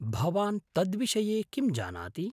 भवान् तद्विषये किं जानाति?